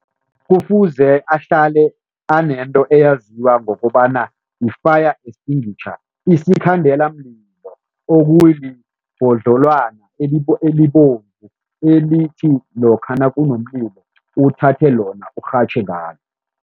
Kufuze ahlale anento eyaziwa ngokobana yi-fire extinguisher, isikhandelamlilo, okulibhodlelwana elibomvu elithi lokha nakunomlilo uthathe lona urhatjhe ngalo.